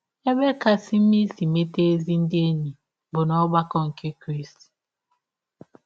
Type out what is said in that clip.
Ebe kasị mma isi meta ezi ndị enyi bụ n’ọgbakọ ndị Krịsti